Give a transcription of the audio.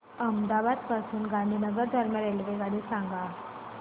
अहमदाबाद पासून गांधीनगर दरम्यान रेल्वेगाडी सांगा